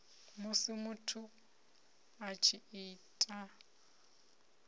musi muthu a tshi ita